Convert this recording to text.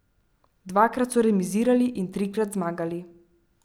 Dvakrat so remizirali in trikrat zmagali.